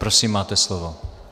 Prosím, máte slovo.